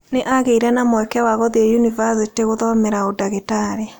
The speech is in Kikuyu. Nĩ aagĩire na mweke wa gũthiĩ yunibacĩtĩ gũthomera ũndagĩtarĩ.